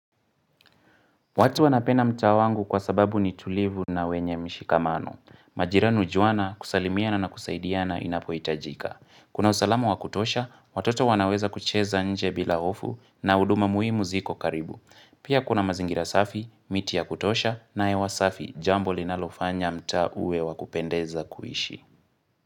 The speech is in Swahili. Watu wanapena mta wangu kwa sababu ni tulivu na wenye mshikamano. Majirani hujuana kusalimiana na kusaidiana inapoitajika. Kuna usalama wakutosha, watoto wanaweza kucheza nje bila ofu na uduma muhimu ziko karibu. Pia kuna mazingira safi, miti ya kutosha na hewa safi jambo linalofanya mta uwe wakupendeza kuishi.